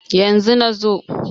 yanzu. na zo